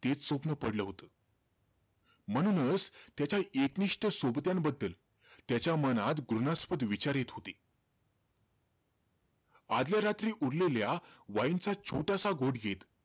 तेच स्वप्न पडलं होतं. म्हणूनचं, त्याच्या एकनिष्ठ सोबत्यांबद्दल, त्याच्या मनात घृणास्पद विचार येत होते. आदल्या रात्री उरलेल्या wine चा छोटासा घोट घेत,